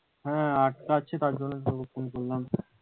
হ্যাঁ আটকাচ্ছি তার জন্য তো ফোন করলাম,